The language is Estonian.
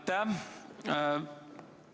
Aitäh!